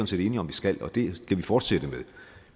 set enige om vi skal og det skal vi fortsætte med